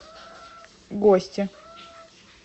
гости